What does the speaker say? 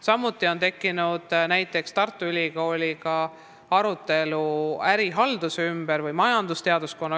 Samuti on näiteks Tartu Ülikooli majandusteaduskonnaga tekkinud arutelu ärihalduse teemal.